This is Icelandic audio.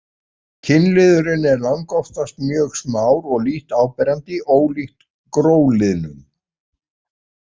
Kynliðurinn er langoftast mjög smár og lítt áberandi, ólíkt gróliðnum.